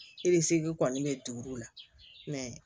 E ni segu kɔni be duuru la